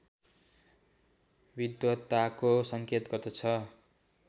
विद्वताको सङ्केत गर्दछ